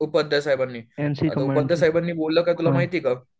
उपाध्याय साहेबांनी, उपाध्याय साहेबांनी बोललं काय तुला माहीत आहे का?